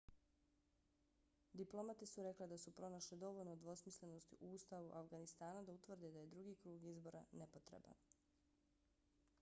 diplomate su rekle da su pronašle dovoljno dvosmislenosti u ustavu afganistana da utvrde da je drugi krug izbora nepotreban